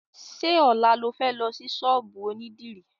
Ṣé ọ̀la lo fẹ́ lọ sí ṣọ́ọ̀bù onídìrí?